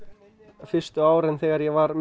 fyrstu árin þegar ég var með